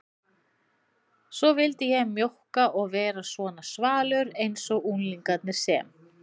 Svo vildi ég mjókka og vera svona svalur einsog unglingarnir sem